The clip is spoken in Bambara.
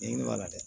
I b'a la dɛ